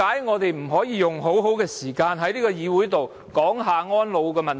我們為何不能善用時間在議會討論安老問題？